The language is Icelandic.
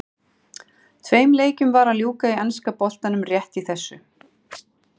Tveim leikjum var að ljúka í enska boltanum rétt í þessu.